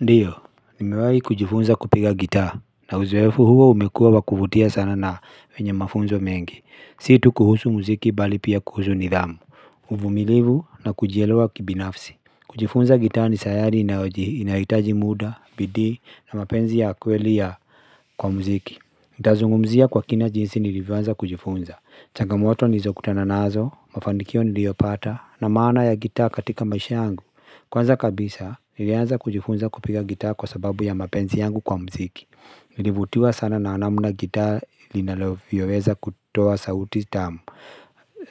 Ndiyo, nimewahi kujifunza kupiga gitaa, na uzoefu huo umekuwa wa kuvutia sana na wenye mafunzo mengi. Si tu kuhusu muziki bali pia kuhusu nidhamu, uvumilivu na kujielewa kibinafsi. Kujifunza gitaa ni sayari inayohitaji muda, bidii na mapenzi ya kweli ya kwa muziki. Ndazungumzia kwa kina jinsi nilivyoanza kujifunza. Changamoto nizokutana nazo, mafanikio niliyopata, na maana ya gitaa katika maisha yangu. Kwanza kabisa, nilianza kujifunza kupiga gitaa kwa sababu ya mapenzi yangu kwa mziki. Nilivutiwa sana na namna gitaa inavyoweza kutoa sauti tamu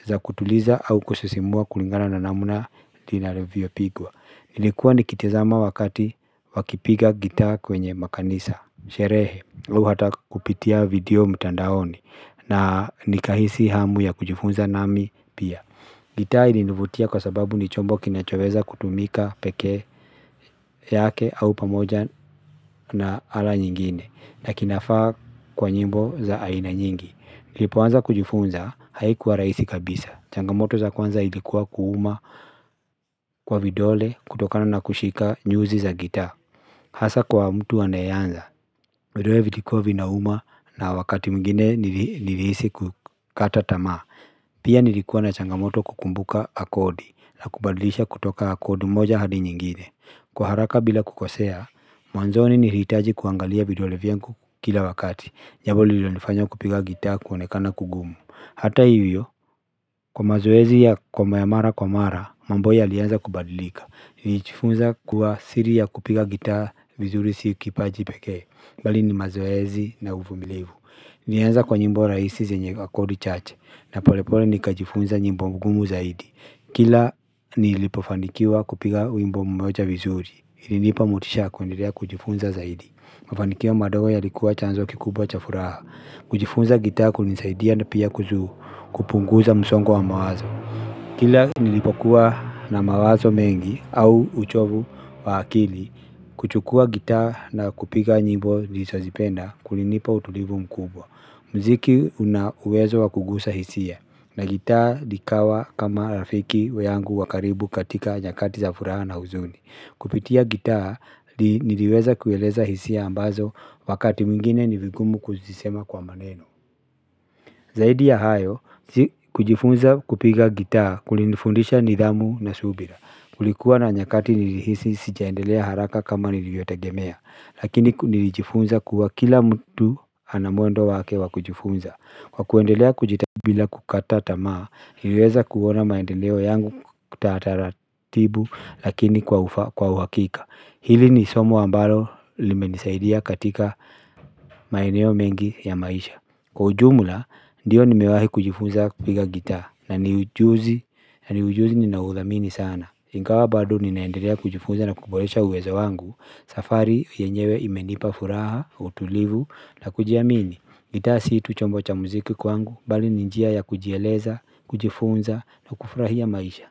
za kutuliza au kusisimua kulingana na namna linalovyopigwa. Nilikuwa nikitizama wakati wakipiga gitaa kwenye makanisa sherehe, au hata kupitia video mtandaoni. Na nikahisi hamu ya kujifunza nami pia. Gitaa ilinivutia kwa sababu ni chombo kinachoweza kutumika pekee yake au pamoja na ala nyingine na kinafaa kwa nyimbo za aina nyingi niliipoanza kujifunza haikuwa rahisi kabisa, changamoto za kwanza ilikuwa kuuma kwa vidole kutokana na kushika nyuzi za gitaa. Hasa kwa mtu anayeanza, vidole vikikuwa vinauma na wakati mwingine nilihisi kukata tamaa. Pia nilikuwa na changamoto kukumbuka kodi la kubadilisha kutoka kodi moja hadi nyingine. Kwa haraka bila kukosea, mwanzoni nilihitaji kuangalia vidole vyangu kila wakati jambo lililonifanya kupiga gitaa kuonekana kugumu. Hata hivyo, kwa mazoezi ya kwa mayamara kwa mara, mambo yalianza kubadilika. Nijifunza kuwa siri ya kupiga gitaa vizuri si kipaji pekee. Mbali ni mazoezi na uvumilivu. Nianza kwa nyimbo rahisi zenye kodi chache. Na polepole nikajifunza nyimbo ngumu zaidi. Kila nilipofanikiwa kupiga wimbo mmoja vizuri. Ilinipa motisha ya kuendelea kujifunza zaidi. Mafanikio madogo yalikuwa chanzo kikubwa cha furaha. Kujifunza gitaa kulinisaidia na pia kuhusu kupunguza msongo wa mawazo. Kila nilipokuwa na mawazo mengi au uchovu wa akili kuchukua gitaa na kupiga nyimbo nilizozipenda kulinipa utulivu mkubwa. Mziki una uwezo wa kugusa hisia na gitaa likawa kama rafiki yangu wa karibu katika nyakati za furaha na huzuni. Kupitia gitaa niliweza kueleza hisia ambazo wakati mwingine ni vigumu kuzisema kwa maneno. Zaidi ya hayo kujifunza kupiga gitaa kulinifundisha nidhamu na subira. Kulikuwa na nyakati nilihisi sijaendelea haraka kama niliyotegemea. Lakini nilijifunza kuwa kila mtu ana mwendo wake wa kujifunza. Kwa kuendelea kujita bila kukata tamaa niliweza kuona maendeleo yangu kwa taratibu lakini kwa uhakika. Hili ni somo ambalo limenisaidia katika maeneo mengi ya maisha. Kwa ujumla, ndiyo nimewahi kujifunza kupiga gitaa, na ni ujuzi ninaoudhamini sana. Ingawa bado ninaendelea kujifunza na kuboresha uwezo wangu, safari yenyewe imenipa furaha, utulivu, na kujiamini. Gitaa sii tu chombo cha muziki kwangu, bali ni njia ya kujieleza, kujifunza, na kufurahia maisha.